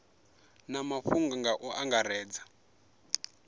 na mafhungo nga u angaredza